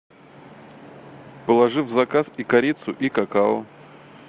положи в заказ и корицу и какао